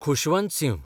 Khushwant Singh